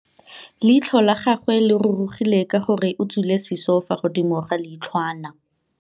Leitlhô la gagwe le rurugile ka gore o tswile sisô fa godimo ga leitlhwana.